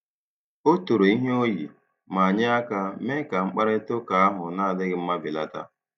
O toro ihe o yi, ma nye aka mee ka mkparịta ụka ahụ na-adịghị mma belata.